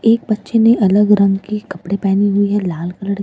एक बच्चे ने अलग रंग के कपडे़ पेहने हुए हैं लाल कलड़ के --